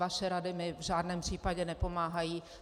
Vaše rady mi v žádném případě nepomáhají.